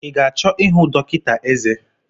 I ga-achọ ịhụ dọkịta eze?